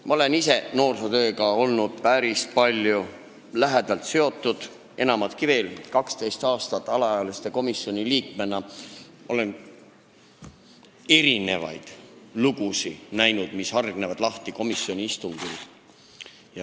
Ma olen ise noorsootööga päris palju lähedalt seotud olnud, enamatki veel – nägin 12 aastat alaealiste komisjoni liikmena erinevaid lugusid, mis hargnesid lahti komisjoni istungil.